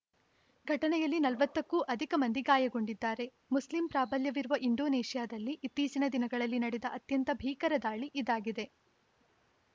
ಘಟನೆಯಲ್ಲಿ ನಲವತ್ತಕ್ಕೂ ಅಧಿಕ ಮಂದಿ ಗಾಯಗೊಂಡಿದ್ದಾರೆ ಮುಸ್ಲಿಂ ಪ್ರಾಬಲ್ಯವಿರುವ ಇಂಡೋನೇಷ್ಯಾದಲ್ಲಿ ಇತ್ತೀಚಿನ ದಿನಗಳಲ್ಲಿ ನಡೆದ ಅತ್ಯಂತ ಭೀಕರ ದಾಳಿ ಇದಾಗಿದೆ